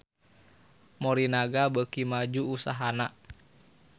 Morinaga beuki maju usahana